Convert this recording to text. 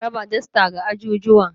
Ana raba dasta ga ajujuwan.